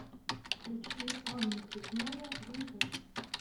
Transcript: включи анна плетнева винтаж